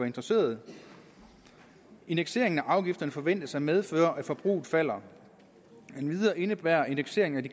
interesseret indekseringen af afgifterne forventes at medføre at forbruget falder endvidere indebærer indekseringen